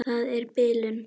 Það er bilun.